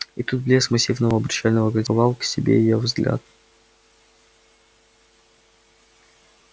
и тут блеск массивного обручального кольца приковал к себе её взгляд